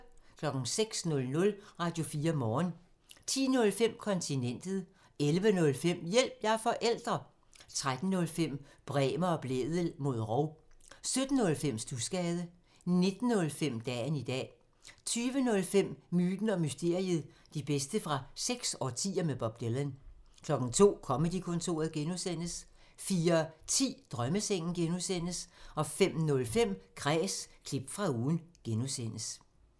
06:00: Radio4 Morgen 10:05: Kontinentet 11:05: Hjælp – jeg er forælder! 13:05: Bremer og Blædel mod rov 17:05: Studsgade 19:05: Dagen i dag 20:05: Myten og mysteriet – de bedste fra seks årtier med Bob Dylan 02:00: Comedy-kontoret (G) 04:10: Drømmesengen (G) 05:05: Kræs – klip fra ugen (G)